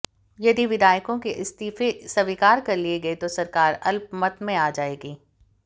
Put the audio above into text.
यदि विधायकों के इस्तीफे स्वीकार कर लिए गए तो सरकार अल्पमत में आ जाएगी